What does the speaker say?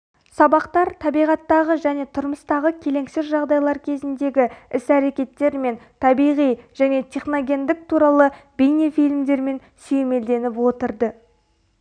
сабақтар табиғаттағы және тұрмыстағы келеңсіз жағдайлар кезіндегі іс-әрекеттер мен табиғи және техногендік туралы бейнефильмдермен сүйемелденіп отырды